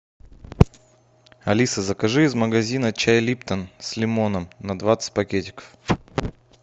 алиса закажи из магазина чай липтон с лимоном на двадцать пакетиков